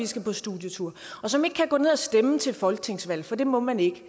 skal på studietur og som ikke kan gå ned at stemme til et folketingsvalg for det må man ikke